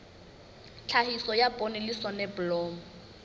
tlhahiso ya poone le soneblomo